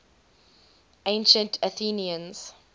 ancient athenians